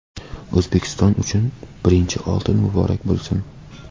O‘zbekiston uchun birinchi oltin muborak bo‘lsin!.